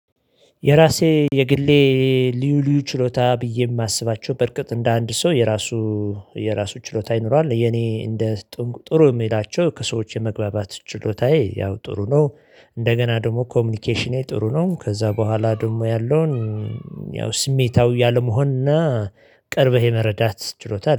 የራሴ የግሌ ልዩ ልዩ ችሎታ ብዬ የማስባቸው በርግጥ እንደ አንድ ሰው የራሱ የራሱ ችሎታ ይኖራል የኔ እንደ ጥሩ የሚላቸው ከሰዎች የመግባባት ችሎታዬ ያው ጥሩ ነው። እንደገና ደግሞ ኮሚኒኬሽኔ ጥሩ ነው። ከዚያ በኋላ ደግሞ ያለውን ያው ስሜታዊ ያለመሆንና ቅርበህ የመረዳት ችሎታ አለኝ